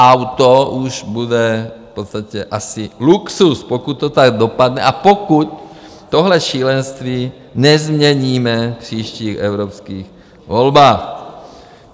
Auto už bude v podstatě asi luxus, pokud to tak dopadne a pokud tohle šílenství nezměníme v příštích evropských volbách.